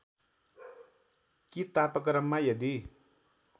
कि तापक्रममा यदि